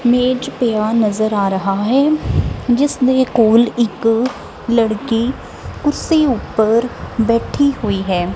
ਮੇਜ ਪਿਆ ਨਜ਼ਰ ਆ ਰਹਾ ਹੈ ਜਿਸਦੇ ਕੋਲ ਇੱਕ ਲੜਕੀ ਕੁਰਸੀ ਉੱਪਰ ਬੈਠੀ ਹੋਈ ਹੈ।